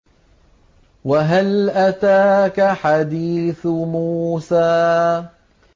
وَهَلْ أَتَاكَ حَدِيثُ مُوسَىٰ